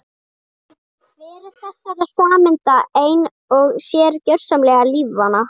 Hver þessara sameinda ein og sér er gjörsamlega lífvana.